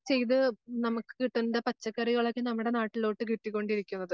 ചെയ്ത് നമക്ക് കിട്ടണ്ട പച്ചക്കറികളൊക്കെ നമ്മുടെ നാട്ടിലോട്ട് കിട്ടിക്കൊണ്ടിരിക്കുന്നത്.